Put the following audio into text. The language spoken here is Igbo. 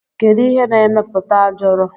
Kedu ihe na emeputa ajọrọ?